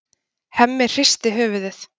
Hemmi hristir höfuðið.